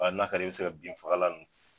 Wa n'a kar'i ye i bɛ se ka bin fagalan ninnu f